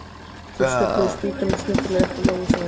Þeir stöfluðu spýtunum snyrtilega upp og Jói sagði